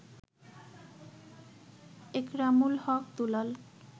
Ekramul Haque Dulal